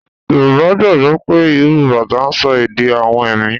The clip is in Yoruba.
Yorùbá gbàgbó pé ìró bátà ń sọ èdè awọn ẹ̀mí